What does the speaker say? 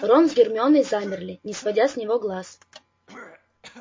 рон с гермионой замерли не сводя с него глаз